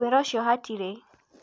Wĩra ũcio hatirĩ.